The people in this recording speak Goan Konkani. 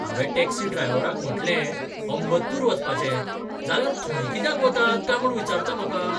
हावें टॅक्सी ड्रायव्हराक म्हटलें, अंबत्तूर वचपाचें, जाल्यार थंय कित्याक वतात काय म्हूण विचारता म्हाका!